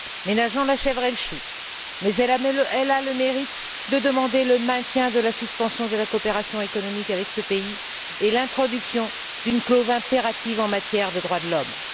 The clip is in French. Ménageons la chèvre et le chou! Mais elle a le mérite de demander le maintien de la suspension de la coopération économique avec ce pays et l'introduction d'une clause impérative en matière de droits de l'homme.